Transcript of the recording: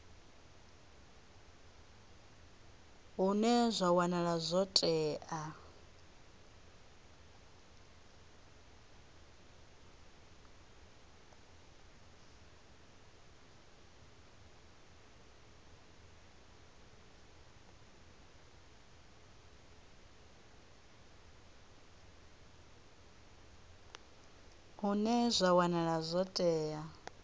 hune zwa wanala zwo tea